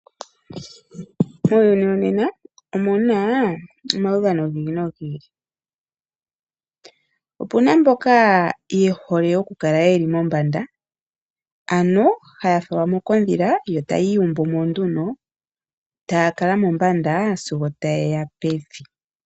Muuyuni wonena omu na omaudhano gi ili nogi ili. Opu na mboka ye dhole okukala ye li mombanda, haya falwa mo kondhila yo taya iyumbu mo nduno taya kala mombanda sigo taye ya pevi.